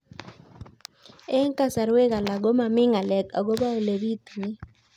Eng' kasarwek alak ko mami ng'alek akopo ole pitunee